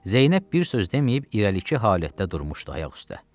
Zeynəb bir söz deməyib irəlik halətdə durmuşdu ayaq üstə.